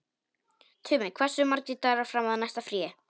Tumi, hversu margir dagar fram að næsta fríi?